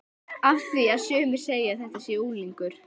Af því að sumir segja að þetta sé unglingur.